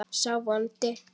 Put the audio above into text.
sá vondi